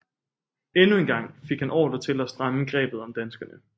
Endnu en gang fik han ordre til at stramme grebet om danskerne